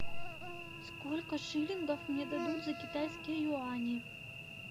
сколько шиллингов мне дадут за китайские юани